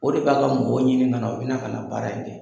O de b'a ka mɔgɔw ɲini kana, u bɛna ka na baara in kɛ.